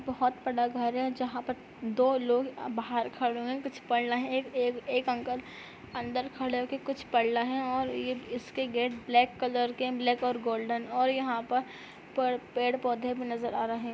बहुत बड़ा घर है जहाँ पर दो लोग अ बाहर खड़े हुए है कुछ पढ़ रहे है एक-एक अंकल अंदर खड़े होके कुछ पढ़ रहे है और ये इसके गेट ब्लैक कलर के है ब्लैक और गोल्डन और यहाँ पर पेड़-पौधे भी नजर आ रहे है।